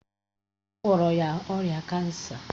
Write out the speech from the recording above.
A gwọrọ ya ọrịa kansa